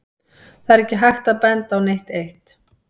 Það er ekki hægt að benda á neitt eitt.